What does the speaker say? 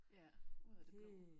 Ja ud af det blå